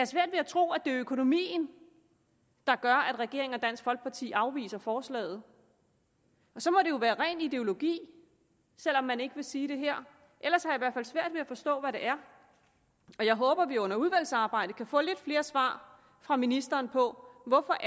svært ved at tro at det er økonomien der gør at regeringen og dansk folkeparti afviser forslaget så må det jo være ren ideologi selv om man ikke vil sige det her ellers har jeg svært ved at forstå hvad det er og jeg håber at vi under udvalgsarbejdet kan få lidt flere svar fra ministeren på hvorfor